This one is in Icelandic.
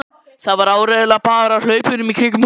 Það var áreiðanlega bara af hlaupunum kringum húsið, hugsaði